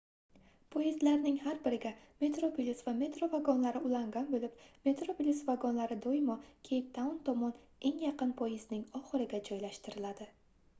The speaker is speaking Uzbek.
poyezdlarning har biriga metroplus va metro vagonlari ulangan boʻlib metroplus vagonlari doimo keyptaun tomon eng yaqin poyezdning oxiriga joylashtiriladi